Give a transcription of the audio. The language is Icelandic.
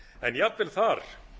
en jafnvel þar